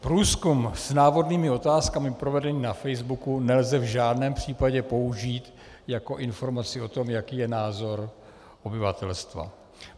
Průzkum s návodnými otázkami provedený na facebooku nelze v žádném případě použít jako informaci o tom, jaký je názor obyvatelstva.